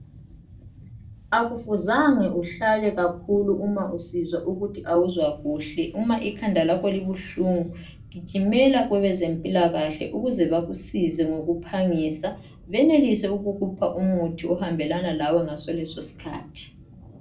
Akufuzange uhlale kakhulu uma usizwa ukuthi awuzwa kuhle. Uma ikhanda lakho libuhlungu gijimela kwebezempilakahle ukuze bakusize ngokuphangisa benelise ukukupha umuthi ohambelana lawe ngaso leso skhathi.